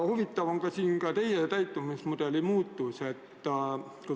Huvitav on teie käitumismudeli muutus.